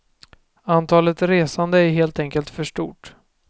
Antalet resande är helt enkelt för stort.